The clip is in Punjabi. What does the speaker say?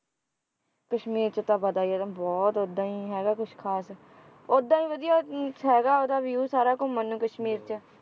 ਕਸ਼ਮੀਰ ਚ ਤਾਂ ਪਤਾ ਹੀ ਆ ਤੁਹਾਨੂੰ ਬਹੁਤ ਇਹਦਾ ਹੀ ਹੈਗਾ ਕੁਛ ਖਾਸ ਉਹਦਾ ਹੀ ਵਧੀਆ ਹੈਗਾ ਉਹਦਾ ਹੀ ਵਧੀਆ ਹੈਗਾ ਉਹਦਾ view ਸਾਰਾ ਘੁੰਮਣ ਨੂੰ ਕਸ਼ਮੀਰ ਚ